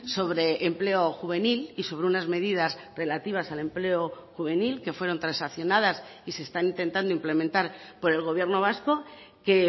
sobre empleo juvenil y sobre unas medidas relativas al empleo juvenil que fueron transaccionadas y se están intentando implementar por el gobierno vasco que